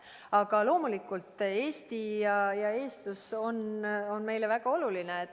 Aga loomulikult on Eesti ja eestlus meile väga olulised.